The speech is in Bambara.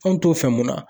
An mi t'o fɛ mun na